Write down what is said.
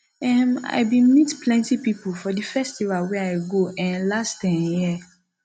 um i bin meet plenty pipo for di festival wey i go um last um year